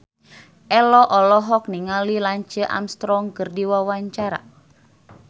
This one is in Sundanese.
Ello olohok ningali Lance Armstrong keur diwawancara